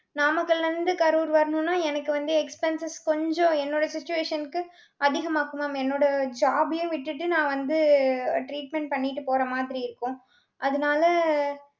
நாமக்கல்ல இருந்து கரூர் வரணும்னா, எனக்கு வந்து expenses கொஞ்சம், என்னோட situation க்கு, அதிகமாக்கும் mam என்னோட job ஐயும் விட்டுட்டு நான் வந்து treatment பண்ணிட்டு போற மாதிரி இருக்கும். அதனால,